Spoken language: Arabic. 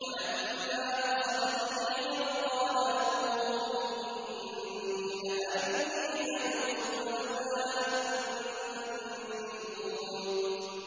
وَلَمَّا فَصَلَتِ الْعِيرُ قَالَ أَبُوهُمْ إِنِّي لَأَجِدُ رِيحَ يُوسُفَ ۖ لَوْلَا أَن تُفَنِّدُونِ